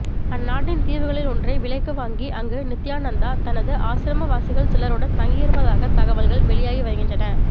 அந்நாட்டின் தீவுகளில் ஒன்றை விலைக்கு வாங்கி அங்கு நித்யானந்தா தனது ஆசிரமவாசிகள் சிலருடன் தங்கியிருப்பதாக தகவல்கள் வெளியாகி வருகின்றன